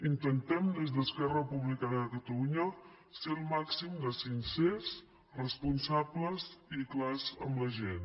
intentem des d’esquerra republicana de catalunya ser el màxim de sincers responsables i clars amb la gent